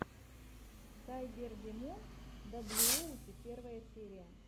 сайбердимон даблюоути первая серия